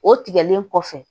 O tigɛlen kɔfɛ